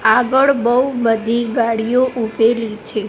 આગળ બઉ બધી ગાડીઓ ઉભેલી છે.